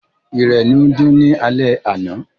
Ìrẹ̀ ni ó ń dún ni alẹ́ àná.